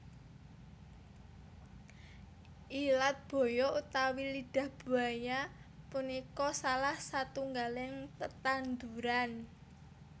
Ilat baya utawi Lidah Buaya punika salah satunggaling tetanduran